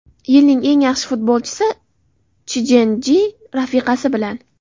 Yilning eng yaxshi futbolchisi Chjen Chji rafiqasi bilan.